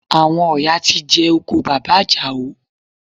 Àwọn ọ̀yà ti jẹ oko bàbá Àjàó